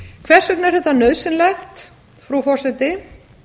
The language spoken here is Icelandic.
hvers vegna er þetta nauðsynlegt frú forseti